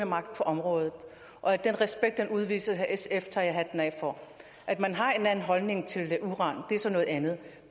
magt på området og at den respekt udvises af sf tager jeg hatten af for at man har en anden holdning til uran er noget andet